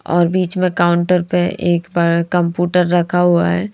और बीच में काउंटर पे एक कंप्यूटर रखा हुआ है।